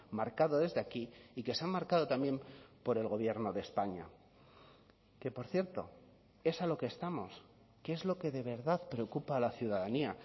marcado desde aquí y que se han marcado también por el gobierno de españa que por cierto es a lo que estamos que es lo que de verdad preocupa a la ciudadanía